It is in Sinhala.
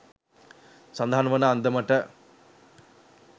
සඳහන් වන අන්දමට